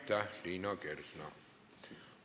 Aitäh, Liina Kersna!